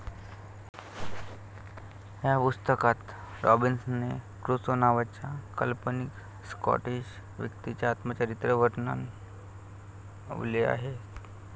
ह्या पुस्तकात Robinson Crusoe नावाच्या काल्पनिक स्कॉटिश व्यक्तीचे आत्मचरित्र वर्णवलेआहे.